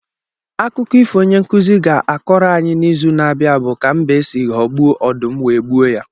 Akụkọ ifo onye nkuzi ga-akọrọ anyị n’izu na-abịa bụ ka mbe si ghọgbuo ọdụm wee gbuo ya.